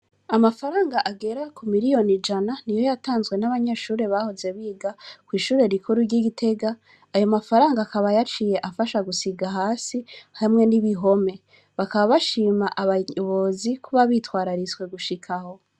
Amafaranga agera ku miliyoni jana ni yo yatanzwe n'abanyeshure bahoze biga kw'ishure rikuru ry'igitega ayo mafaranga akabayaciye afasha gusiga hasi hamwe n'ibihome bakaba bashima abaybozi kuba bitwarariswe gushikaho.